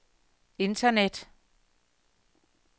internet